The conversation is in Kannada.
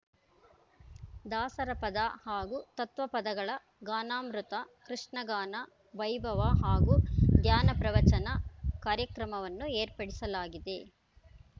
ದಾಸರ ಪದ ಹಾಗೂ ತತ್ವ ಪದಗಳ ಗಾನಾಮೃತ ಕೃಷ್ಣಗಾನ ವೈಭವ ಹಾಗೂ ಧ್ಯಾನ ಪ್ರವಚನ ಕಾರ್ಯಕ್ರಮವನ್ನು ಏರ್ಪಡಿಸಲಾಗಿದೆ